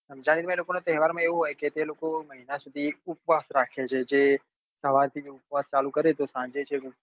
રમઝાનના તહેવારમાં એ લોકોને એવું હોય છે એ લોકો ઉપવાસ રાખે છે સવારે ઉપવાસ ચાલુ કરે તો સાંજે છૅક